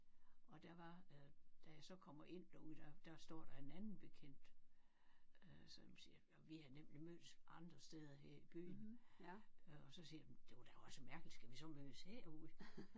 Og der var øh da jeg så kommer ind derude der der står der en anden bekendt øh som siger vi havde nemlig mødtes andre steder her i byen øh og så siger jeg jamen det var da også mærkeligt skal vi så mødes herude